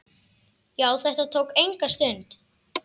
Já, þetta tók enga stund.